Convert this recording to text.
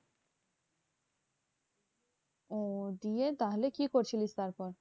ওহ দিয়ে তাহলে কি করছিলিস তারপর?